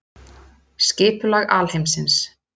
Skipulag alheimsins.